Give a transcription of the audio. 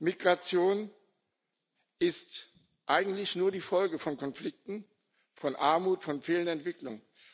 Migration ist eigentlich nur die Folge von Konflikten, von Armut, von fehlender Etwicklung.